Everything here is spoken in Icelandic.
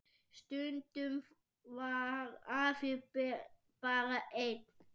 Stundum var afi bara einn.